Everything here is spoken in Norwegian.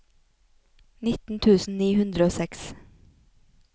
nitten tusen ni hundre og seks